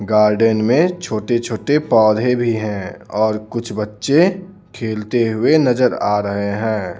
Garden में छोटे-छोटे पौधे भी हैं और कुछ बच्चे खेलते हुए नजर आ रहे हैं.